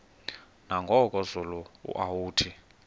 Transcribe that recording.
nangoku zulu uauthi